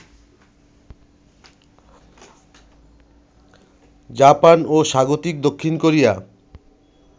Japan ও স্বাগতিক দক্ষিণ কোরিয়া